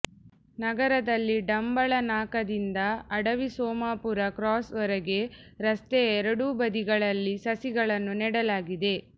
ನಗರದಲ್ಲಿ ಡಂಬಳ ನಾಕಾದಿಂದ ಅಡವಿಸೋಮಾಪುರ ಕ್ರಾಸ್ವರೆಗೆ ರಸ್ತೆಯ ಎರಡೂ ಬದಿಗಳಲ್ಲಿ ಸಸಿಗಳನ್ನು ನೆಡಲಾಗಿದೆ